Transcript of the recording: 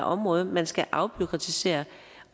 område man skal afbureaukratisere